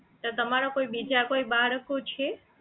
તો તમારા કોઈ બીજા કોઈ બાળકો છે